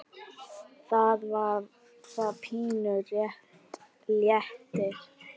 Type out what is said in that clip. Þá var það pínu léttir.